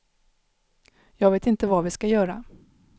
Jag vet inte vad vi ska göra.